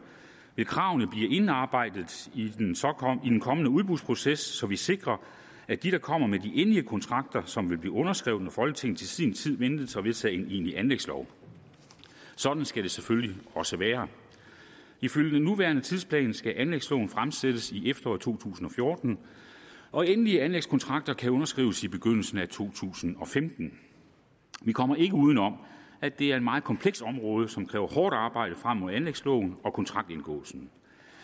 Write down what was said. vil kravene blive indarbejdet i den kommende udbudsproces så vi sikrer at de kommer med i de endelige kontrakter som vil blive underskrevet når folketinget til sin tid ventes at vedtage en egentlig anlægslov sådan skal det selvfølgelig også være ifølge den nuværende tidsplan skal anlægsloven fremsættes i efteråret to tusind og fjorten og endelige anlægskontrakter kan underskrives i begyndelsen af to tusind og femten vi kommer ikke uden om at det er et meget komplekst område som kræver hårdt arbejde frem mod anlægsloven og kontraktindgåelsen